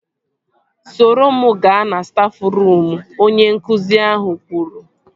Soro m gaa na stafruum! Onye nkụzi ahụ kwuru